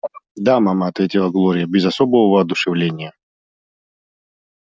да мама ответила глория без особого воодушевления